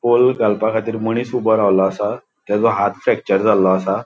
होल घालपाखातीर मनिस ऊबो रावलों असा तेजो हाथ फ्रॅक्चर झाल्लो असा.